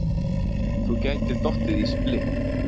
Þú gætir dottið í splitt.